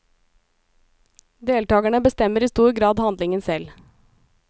Deltagerne bestemmer i stor grad handlingen selv.